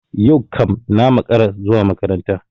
Yau kam na makara zuwa makaranta.